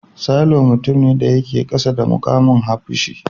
Sailor mutum ne da yake kasa da mukamin hafshi.